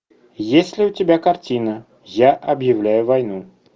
есть ли у тебя картина я объявляю войну